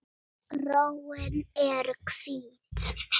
Gróin eru hvít.